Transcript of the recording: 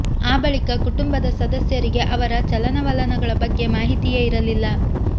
ಆ ಬಳಿಕ ಕುಟುಂಬದ ಸದಸ್ಯರಿಗೆ ಅವರ ಚಲನವಲನಗಳ ಬಗ್ಗೆ ಮಾಹಿತಿಯೇ ಇರಲಿಲ್ಲ